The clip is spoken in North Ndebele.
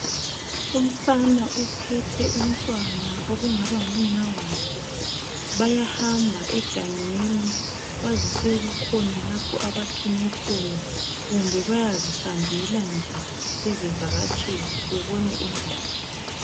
Umfana uphethe umntwana okungaba ngumnawakhe. Bayahamba egangeni, kwazise kukhona lapho abathunywe khona kumbe bayazihambela nje bezivakatshela, bebona indawo.